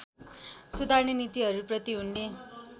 सुधार्ने नीतिहरूप्रति उनले